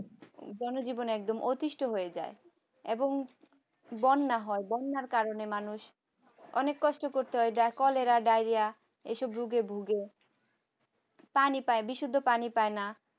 জনজীবন একদম অতিষ্ঠ হয়ে যায় এবং বন্যা হয় হওয়ার বন্যার কারণে মানুষ অনেক কষ্ট করতে হয় যা কলেরা ডায়রিয়া এসব রোগে ভুগে পানি পাই বিশুদ্ধ পানি পাই না।